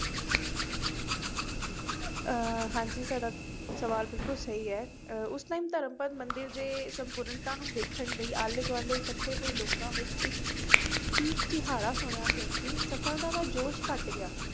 ਅਹ ਹਾਂਜੀ ਤੁਹਾਡਾ ਸਵਾਲ ਬਿਲਕੁਲ ਸਹੀ ਹੈ ਅਹ ਉਸ time ਧਰਮਪਦ ਮੰਦਿਰ ਦੇ ਸੰਪੂਰਨਤਾ ਨੂੰ ਵੇਖਣ ਲਈ ਆਲੇ ਦੁਆਲੇ ਇਕੱਠੇ ਹੋਏ ਲੋਕਾਂ ਵਿੱਚ ਇੱਕ ਚੀਖ ਚਿਹਾੜਾ ਸੁਣਿਆ ਕਿਉਂਕਿ ਸਫ਼ਲਤਾ ਦਾ ਜੋਸ਼ ਘੱਟ ਗਿਆ,